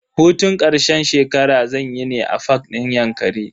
Hutun karshen shekara zanyi ne a fak din yankari.